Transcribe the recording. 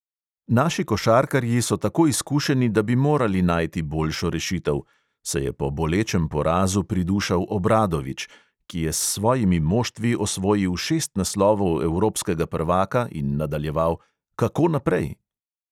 "Naši košarkarji so tako izkušeni, da bi morali najti boljšo rešitev," se je po bolečem porazu pridušal obradovič, ki je s svojimi moštvi osvojil šest naslovov evropskega prvaka, in nadaljeval: "kako naprej?"